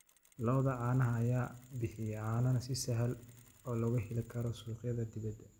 Lo'da caanaha ayaa bixiya caano si sahal ah looga heli karo suuqyada dibadda.